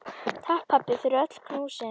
Takk, pabbi, fyrir öll knúsin.